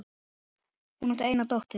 Hún átti eina dóttur.